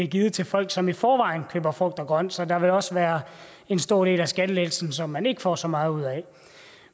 givet til folk som i forvejen køber frugt og grønt så der vil også være en stor del af skattelettelsen som man ikke får så meget ud af